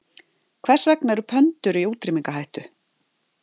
Hvers vegna eru pöndur í útrýmingarhættu?